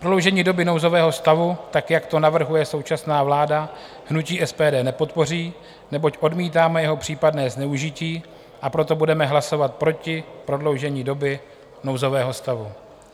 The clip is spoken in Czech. Prodloužení doby nouzového stavu, tak jak to navrhuje současná vláda, hnutí SPD nepodpoří, neboť odmítáme jeho případné zneužití, a proto budeme hlasovat proti prodloužení doby nouzového stavu.